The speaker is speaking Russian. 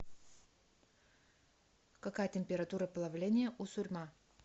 какая температура плавления у сурьма